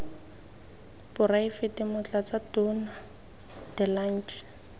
poraefete motlatsa tona de lange